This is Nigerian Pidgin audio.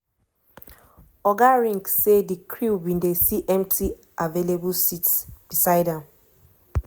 oga ring say di crew bin see empty available seats beside am.